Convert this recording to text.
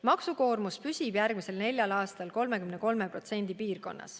Maksukoormus püsib järgmisel neljal aastal 33% piirkonnas.